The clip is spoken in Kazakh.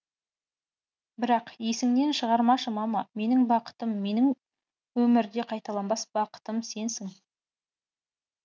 бірақ есіңнен шығармашы мама менің бақытым менің өмірде қайталанбас бақытым сенсің